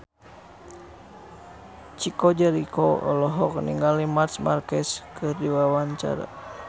Chico Jericho olohok ningali Marc Marquez keur diwawancara